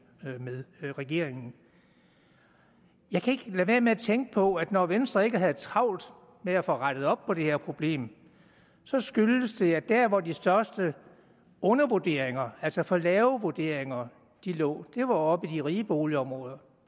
med regeringen jeg kan ikke lade være med at tænke på at når venstre ikke havde travlt med at få rettet op på det her problem skyldes det at der hvor de største undervurderinger altså for lave vurderinger lå var oppe i de rige boligområder